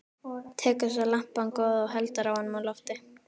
Tekur svo lampann góða og heldur honum á lofti.